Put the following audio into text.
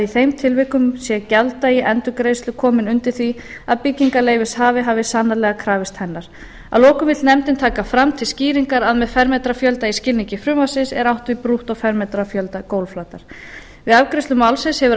þeim tilvikum sé gjalddagi endurgreiðslu kominn undir því að byggingarleyfishafi hafi sannarlega krafist hennar að lokum vill nefndin taka fram til skýringar að með fermetrafjölda í skilningi frumvarpsins er átt við brúttófermetrafjölda gólfflatar við afgreiðslu málsins hefur